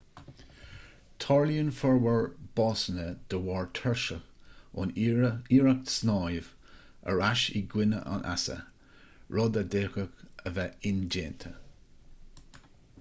tarlaíonn formhór básanna de bharr tuirse ón iarracht snámh ar ais i gcoinne an easa rud a d'fhéadfadh a bheith indéanta